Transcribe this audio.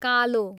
कालो